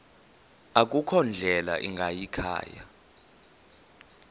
akukho ndlela ingayikhaya